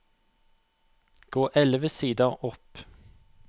Gå elleve sider opp